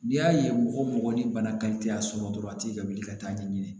N'i y'a ye mɔgɔ o mɔgɔ ni bana y'a sɔrɔ dɔrɔn a t'i ka wuli ka taa ɲɛɲini